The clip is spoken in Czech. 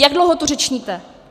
Jak dlouho tu řečníte?